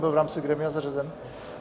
Byl v rámci grémia zařazen?